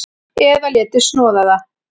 Eða léti snoða það.